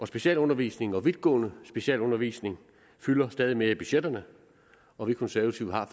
specialundervisning og vidtgående specialundervisning fylder stadig mere i budgetterne og vi konservative har